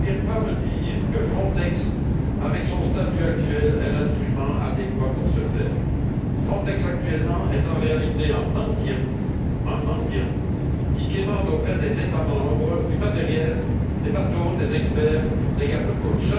Qu'on ne vienne pas me dire que Frontex, avec son statut actuel, est l'instrument adéquat pour ce faire. Frontex, actuellement, est en réalité un mendiant, un mendiant qui quémande auprès des États membres du matériel, des bateaux, des experts, des garde côtes.